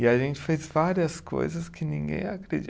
E a gente fez várias coisas que ninguém ia acredi